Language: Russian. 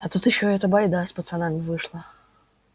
а тут ещё эта байда с пацанами вышла